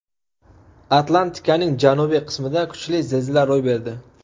Atlantikaning janubiy qismida kuchli zilzila ro‘y berdi.